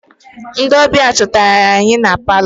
Ndị ọbịa chọtara anyị nọ na palọ.